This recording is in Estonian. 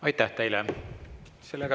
Aitäh teile!